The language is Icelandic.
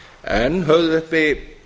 en höfðu uppi